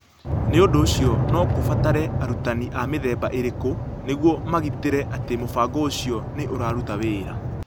Nĩ ũndũ ũcio, no kũbatare arutani a mĩthemba ĩrĩkũ nĩguo magitĩre atĩ mũbango ũcio nĩ ũraruta wĩra.